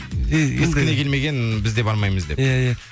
біздікіне келмеген біз де бармаймыз деп иә иә